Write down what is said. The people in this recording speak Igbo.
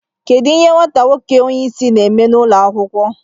Kedu ihe nwata nwoke onye isi na-eme n'ụlọ akwụkwọ